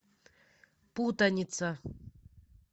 путаница